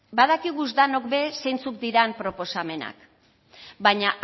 badakiguz danok be zeintzuk diran proposamenak baina